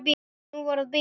Nú var að bíða.